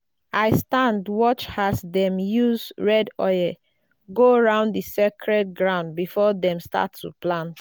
i stand watch as dem use red go round the sacred ground before dem start to plant.